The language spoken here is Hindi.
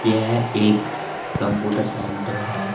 यह एक कंप्यूटर सेंटर है।